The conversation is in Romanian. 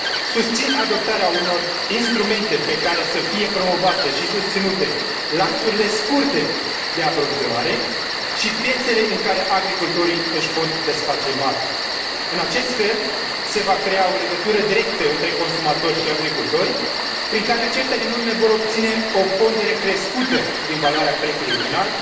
Susțin adoptarea unor instrumente pe care să fie promovate și susținute lanțurile scurte de aprovizionare și piețele în care agricultorii își pot desface marfa. În acest fel se va crea o legătură directă între consumator și agricultori, prin care aceștia din urmă vor obține o pondere crescută din valoarea prețului final,